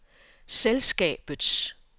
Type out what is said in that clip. selskabets